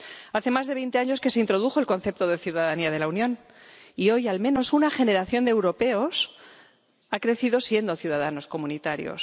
Hace más de veinte años que se introdujo el concepto de ciudadanía de la Unión y, hoy, al menos una generación de europeos ha crecido siendo ciudadanos comunitarios.